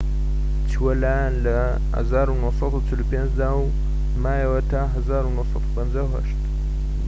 چووە لایان لە ١٩٤٥ دا و مایەوە تا ١٩٥٨